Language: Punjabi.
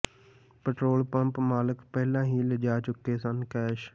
ਪੈਟਰੋਲ ਪੰਪ ਮਾਲਕ ਪਹਿਲਾਂ ਹੀ ਲਿਜਾ ਚੁਕੇ ਸਨ ਕੈਸ਼